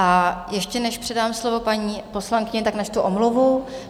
A ještě než předám slovo paní poslankyni, tak načtu omluvu.